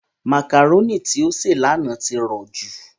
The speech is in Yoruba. Màkàrónì tí ó sè lánàá ti rọ̀jú.